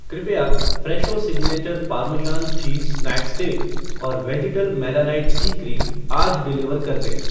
कृपया Fresho signature parmesan cheese snack stick और वेजिटल मेलानाइट सी क्रीम आज डिलीवर कर दें।